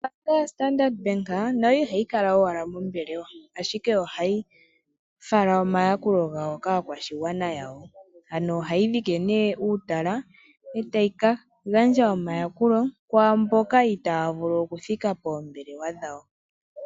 Ombaanga yaStandard Bank nayo ihayi kala owala mombelewa, ashike ohayi fala omayakulo gawo kaakwashigwana yawo. Ohayi dhike nduno uutala e tayi ka gandja omayakulo kwaa mboka itaya vulu okuthika poombelewa dhawo.